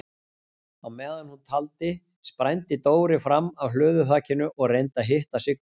Á meðan hún taldi sprændi Dóri fram af hlöðuþakinu og reyndi að hitta Siggu.